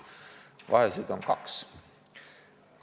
Vahesid on kaks.